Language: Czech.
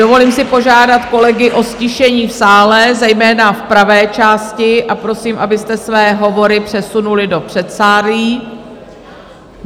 Dovolím si požádat kolegy o ztišení v sále, zejména v pravé části, a prosím, abyste své hovory přesunuli do předsálí.